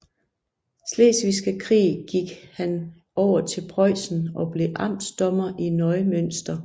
Slesvigske Krig gik han over til Preussen og blev amtsdommer i Neumünster